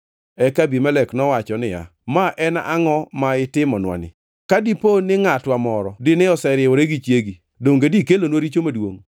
Eka Abimelek nowacho niya, “Ma en angʼo ma itimonwa ni? Ka dipo ni ngʼatwa moro dine oseriwore gi chiegi, donge dikelonwa richo maduongʼ.”